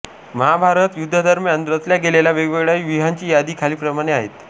महाभारत युद्धादरम्यान रचल्या गेलेल्या वेगवेगळ्या व्यूहांची यादी खालीलप्रमाणे आहे